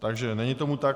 Takže není tomu tak.